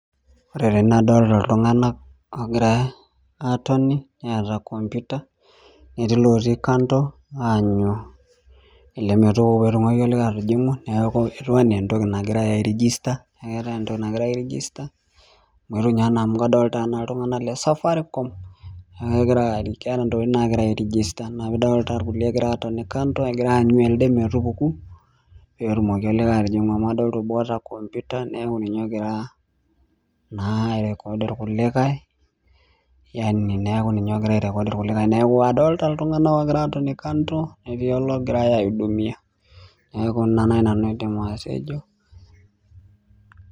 Ore tene adolta iltung'anak oogira aatoni neeta computer netii ilotii kando aanyu ele metupuku petumoki olikae atijing'u neeku etiu anaa entoki nagirae airijista neeku keetae entoki nagirae aerijista amu etu inye anaa amu kadolita iltung'anak le safaricom nekegira ari keeta intokiting naagira aerijista ina pidolta irkulie ekira atoni kando egira aanyu elde metupuku petumoki olikae atijing'u amu adolta obo oota computer neaku ninye ogira uh naa ae record irkulikae yani neeku ninye ogira ae record irkulikae neeku adolta iltung'anak okira atoni kando netii ologirae aeudumia neeku ina naaji nanu aidim atejo.